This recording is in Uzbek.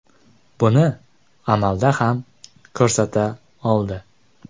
Buni amalda ham ko‘rsata oldi.